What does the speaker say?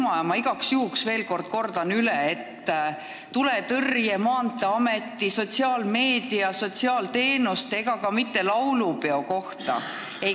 Ma kordan igaks juhuks veel kord, et küsimused sulle ei käi praegu tuletõrje, Maanteeameti, sotsiaalmeedia, sotsiaalteenuste ega ka mitte laulupeo kohta.